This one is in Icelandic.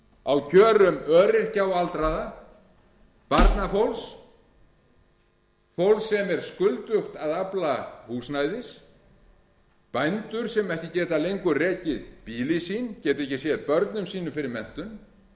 á kjörum öryrkja og aldraðra barnafólks fólks sem er skuldugt að afla húsnæðis bændur sem ekki geta lengur rekið býli sín geta ekki séð börnum sínum fyrir menntun